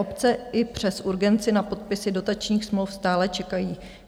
Obce i přes urgenci na podpisy dotačních smluv stále čekají.